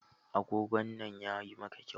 Agogon nan yayi maka kyau.